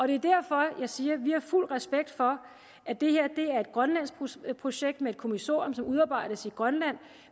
det er derfor jeg siger at vi har fuld respekt for at det her er et grønlandsk projekt projekt med et kommissorium som udarbejdes i grønland